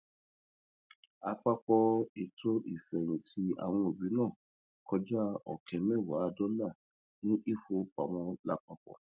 àpapọ ètò ìfẹyìntì àwọn òbí náà kọjá ọkẹ mẹwàá dollar ní ìfowópamọ lápapọ